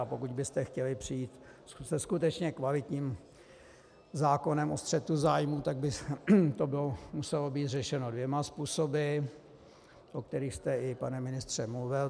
A pokud byste chtěli přijít se skutečně kvalitním zákonem o střetu zájmů, tak by to muselo být řešeno dvěma způsoby, o kterých jste i, pane ministře, mluvil.